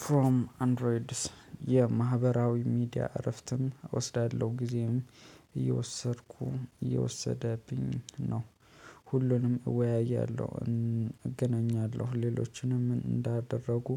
ፍሮም አንድሮይድስ የማህበራዊ ሚዲያ እረፍትም እወስዳለሁ ጊዜም እየወሰድኩ እየወሰደብኝ ነው። ሁሉንም እወያያለሁ እገናኛለሁ ሌሎችንም እንዳደረጉ